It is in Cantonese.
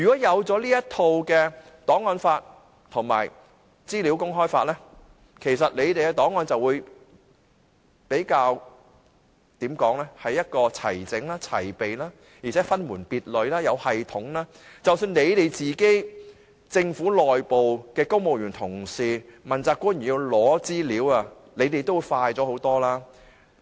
如果有檔案法和資訊自由法，其實政府的檔案便會比較齊整和齊備，而且分門別類、有系統，即使政府內部的公務員同事或問責官員要找尋資料，也可以快捷得多。